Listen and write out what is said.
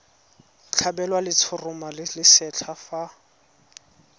tlhabelwa letshoroma le lesetlha fa